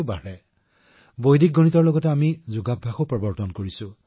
উদাহৰণ স্বৰূপে আমি বৈদিক গণিতৰ সৈতে যোগকো পৰিচিত কৰিছো